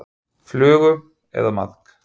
Flugu eða maðk.